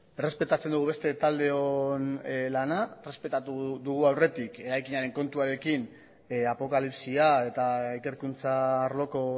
errespetatzen dugu beste taldeon lana errespetatu dugu aurretik eraikinaren kontuarekin apokalipsia eta ikerkuntza arloko